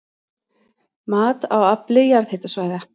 Mat á afli jarðhitasvæða